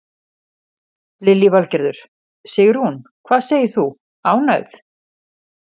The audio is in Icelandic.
Lillý Valgerður: Sigrún, hvað segir þú, ánægð?